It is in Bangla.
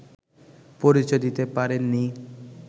পরিচয় দিতে পারেননি